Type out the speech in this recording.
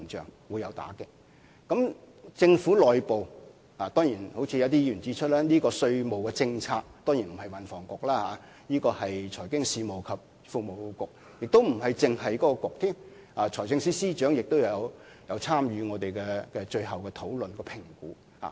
正如一些議員所言，政府內部負責稅務政策的當然不獨是運輸及房屋局負責，還包括是財經事務及庫務局，就連財政司司長也有參與我們最後的討論和評估。